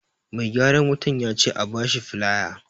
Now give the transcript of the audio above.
Mai gyaran wutan yace a bashi filaya